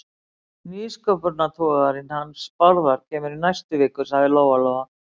Nýsköpunartogarinn hans Bárðar kemur í næstu viku, sagði Lóa-Lóa.